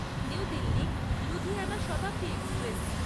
new Delhi Ludhiana Shatabdi express